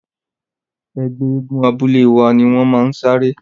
Ẹgbẹ́ eégún abúlé wa ni wọ́n máa saré.